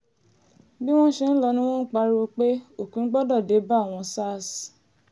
bí wọ́n ṣe ń lọ ni wọ́n ń pariwo pé òpin gbọ́dọ̀ dé bá àwọn sars